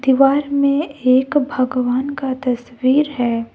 दीवार में एक भगवान का तस्वीर है।